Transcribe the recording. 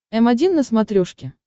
м один на смотрешке